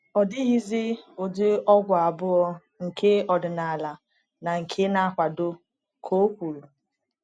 Ọ dịghịzi ụdị ọgwụ abụọ, nke ọdịnala na nke na-akwado,” ka o kwuru.